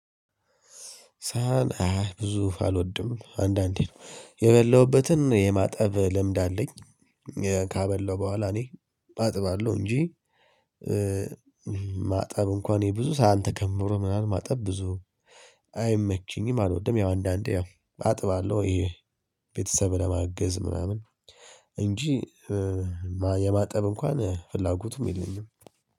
ሳህን አይ ብዙ አልወድም አንዳንዴ የበላሁበትን የማጠብ ልምድ አለኝ። ካበላው በኋላ እኔ አጥባለሁ እንጂ ማጠብ እንኳን ይሄ ብዙ ሳህን ተከምሮ ምናምን ማጠብ ብዙ አይመችኝም አልወድም። ያው አንዳንዴ ያው አጥባለው። ቤተሰብን ለማገዝ ምናምን እንጂ የማጠብ እንኳን ፍላጎቱም የለኝም